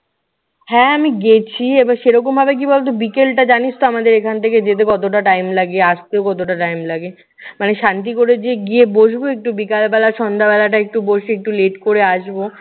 হ্যাঁ, আমি গেছি এবার সেই রকমভাবে কি বলতো বিকেলটা জানিসতো আমাদের এখান থেকে যেতে কতটা time লাগে, আসতে কতটা time লাগে। মানে শান্তিও করে যে গিয়ে বসবো একটু বিকালবেলা। সন্ধ্যাবেলাটা একটু বসে একটু late করে আসবো।